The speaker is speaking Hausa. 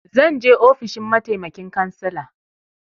Zan je ofishin mataimakin cansala.